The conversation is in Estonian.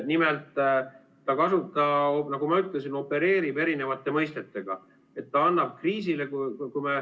Nimelt, nagu ma ütlesin, ta opereerib erinevate mõistetega.